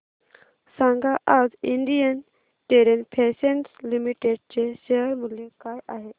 सांगा आज Indian Terrain Fashions Limited चे शेअर मूल्य काय आहे